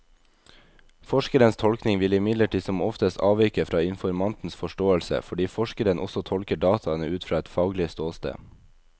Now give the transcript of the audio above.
Forskerens tolkning vil imidlertid som oftest avvike fra informantens forståelse, fordi forskeren også tolker dataene ut fra et faglig ståsted.